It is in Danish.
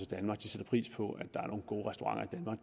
danmark sætter pris på at der er nogle gode restauranter